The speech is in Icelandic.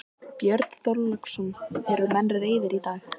Björn Þorláksson: Eru menn reiðir í dag?